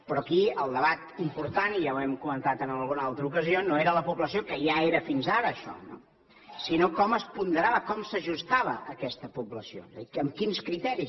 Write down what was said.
però aquí el debat important i ja ho hem comentat en alguna altra ocasió no era la població que ja era fins ara això no sinó com es ponderava com s’ajustava aquesta població amb quins criteris